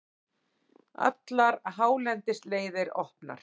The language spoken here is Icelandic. Allar hálendisleiðir opnar